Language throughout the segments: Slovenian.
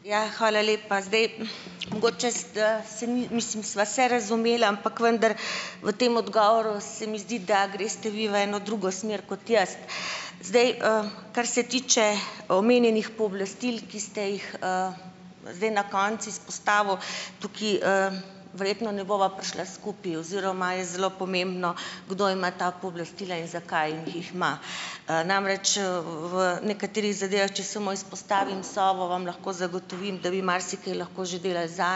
Ja, hvala lepa. Zdaj. Mogoče s se mislim, sva se razumela, ampak vendar v tem odgovoril se mi zdi, da greste vi v eno drugo smer kot jaz. Zdaj, kar se tiče omenjenih pooblastil, ki ste jih, zdaj na koncu izpostavil, tukaj, verjetno ne bova prišla skupaj oziroma je zelo pomembno, kdo ima ta pooblastila in zakaj jih jih ima. Namreč, v nekaterih zadevah, če samo izpostavim, Sovo, vam lahko zagotovim, da bi marsikaj lahko že delali za,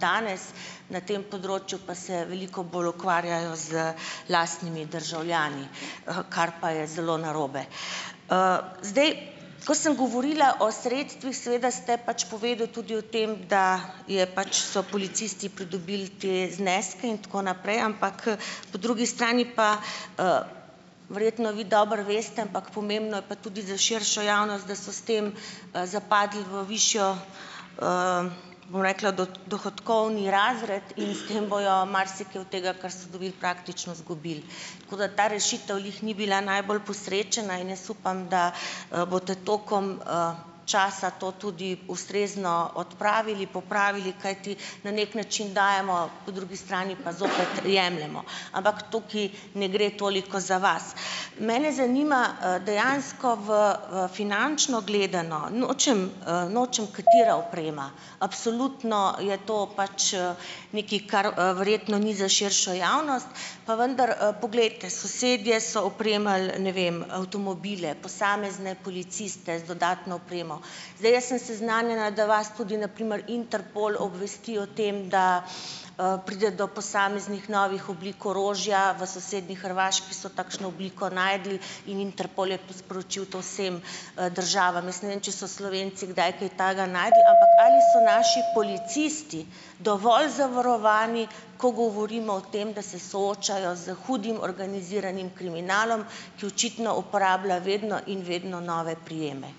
danes na tem področju, pa se veliko bolj ukvarjajo z lastnimi državljani, kar pa je zelo narobe. Zdaj ko sem govorila o sredstvih, seveda ste pač povedali tudi o tem, da je pač so policisti pridobili te zneske, in tako naprej, ampak po drugi strani pa, verjetno vi dobro veste, ampak pomembno je pa tudi za širšo javnost, da so s tem, zapadli v višji, bom rekla dohodkovni razred in s tem bojo marsikaj od tega, kar ste dobili, praktično izgubili. Tako da ta rešitev glih ni bila najbolj posrečena in jaz upam, da, boste tokom, časa to tudi ustrezno odpravili, popravili, kajti na neki način dajemo, po drugi strani pa zopet jemljemo. Ampak tukaj ne gre toliko za vas. Mene zanima, dejansko v v finančno gledano, nočem, nočem katera oprema, absolutno je to pač, nekaj, kar verjetno ni za širšo javnost, pa vendar, poglejte, sosedje so opremili, ne vem, avtomobile, posamezne policiste z dodatno opremo. Zdaj, jaz sem seznanjena, da vas tudi na primer Interpol obvesti o tem, da, pride do posameznih novih oblik orožja, v sosednji Hrvaški so takšno obliko našli in Interpol je to sporočil to vsem, državam. Jaz ne vem, če so Slovenci kdaj kaj takega našli, ampak ali so naši policisti dovolj zavarovani, ko govorimo o tem, da se soočajo s hudim organiziranim kriminalom, ki očitno uporablja vedno in vedno nove prijeme.